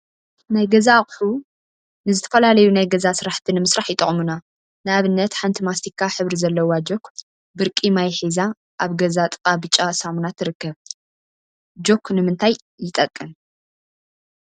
ናይ ገዛ አቁሑ ናይ ገዛ አቁሑ ንዝተፈላለዩ ናይ ገዛ ስራሕቲ ንምስራሕ ይጠቅሙና፡፡ ንአብነት ሓንቲ ማስቲካ ሕብሪ ዘለዋ ጆክ ብርቂ ማይ ሒዛ አብ ገዛ ጥቃ ብጫ ሳሙና ትርከብ፡፡ ጆክ ንምንታይ ይጠቅም?